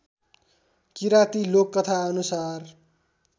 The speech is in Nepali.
किराती लोककथा अनुसार